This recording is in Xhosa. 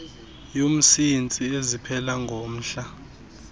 yomsintsi eziphela ngomhla